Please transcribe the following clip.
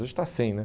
Hoje está cem, né?